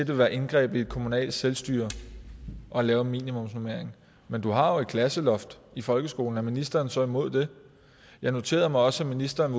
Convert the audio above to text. vil være indgreb i det kommunale selvstyre at lave en minimumsnormering men du har jo et klasseloft i folkeskolen er ministeren så imod det jeg noterede mig også at ministeren